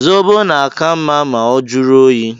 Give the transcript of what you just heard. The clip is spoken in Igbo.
Zobo na-aka mma ma ọ jụrụ oyi.